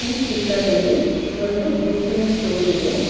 ಈ ಚಿತ್ರದಲ್ಲಿ ಒಂದು ಬುಕ್ ಇನ ಸ್ಟೋರ್ ಇದೆ.